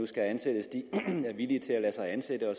skal ansættes er villige til at lade sig ansætte og